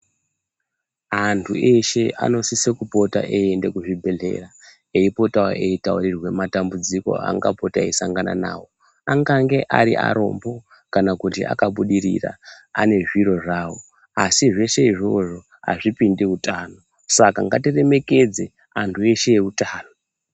Antu eshe anosise kupota eienda kuzvibhedhleya eipotao eitaurirwa matambudziko angapota eisangana navo. Angange ari arombo kana kuti akabudirira ane zviro zvavo asi zveshe izvozvo hazvipindi utano. Saka ngatiremekedze antu eshe eutano.